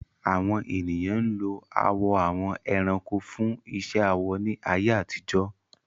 Àwọn ènìyàn ń lo awọ àwọn ẹranko fún iṣẹ́ awọ ní ayé àtijọ́.